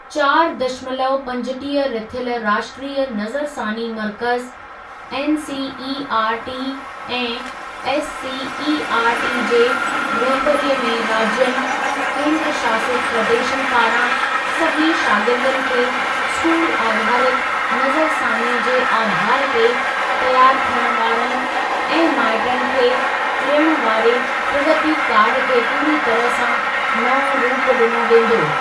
चारि दशमलव पंजटीह रिथियल राष्ट्रीय नज़रसानी मर्कज़, एनसीईआरटी ऐं एससीईआरटी जे रहिबरीअ में राज्यनि, केंद्रशासित प्रदेशनि पारां सभिनी शागिर्दनि खे स्कूल आधारित नज़रसानीअ जे आधारु ते तयारु थियण वारनि ऐं माइटनि खे ॾियण वारे ‘प्रगति कार्ड’ खे पूरी तरह सां नओं रूप ॾिनो वेंदो।